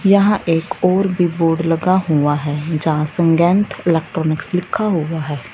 यहां एक और भी बोर्ड लगा हुआ है जहां संगैन्थ इलेक्ट्रॉनिक्स लिखा हुआ है।